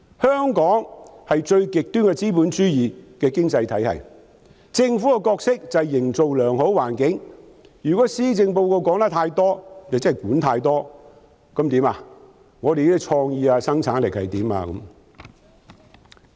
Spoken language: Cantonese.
香港是最極端的資本主義經濟體系，政府的角色就是營造良好的環境，如果施政報告說得太多就是管太多，既要處理本港的創意發展，又要處理生產力。